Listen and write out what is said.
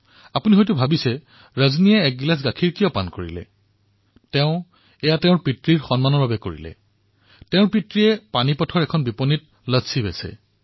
এতিয়া আপোনালোকে ভাবিছে যে ৰজনীয়ে কিয় গাখীৰ গিলাচ খালে এয়া তেওঁ নিজৰ পিতৃ জসমেৰ সিঙৰ সন্মানত কৰিছিল যি পানীপথৰ এক ষ্টলত দৈ বিক্ৰী কৰিছিল